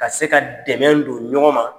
Ka se ka dɛmɛ don ɲɔgɔn ma.